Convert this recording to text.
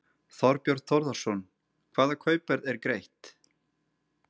Þorbjörn Þórðarson: Hvaða kaupverð er greitt?